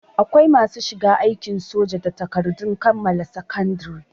Akwai masu shiga aikin soja da takardun kammala sakandare